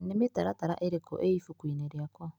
Nĩ mĩtaratara ĩrĩkũ ĩ ibuku-inĩ rĩakwa?